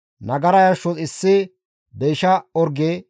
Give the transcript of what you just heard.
Nagara yarshos issi deysha orge,